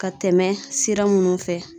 Ka tɛmɛ sira munnu fɛ